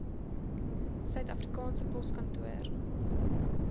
suid afrikaanse poskantoor